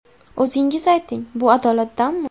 O‘zingiz ayting, bu adolatdanmi?